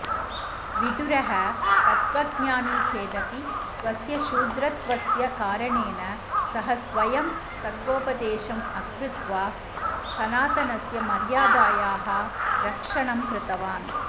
विदुरः तत्त्वज्ञानी चेदपि स्वस्य शूद्रत्वस्य कारणेन सः स्वयं तत्त्वोपदेशम् अकृत्वा सनातनस्य मर्यादायाः रक्षणं कृतवान्